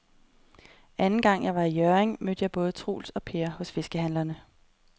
Anden gang jeg var i Hjørring, mødte jeg både Troels og Per hos fiskehandlerne.